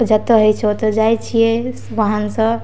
जअता होय छै ओता जाय छिये वाहन से।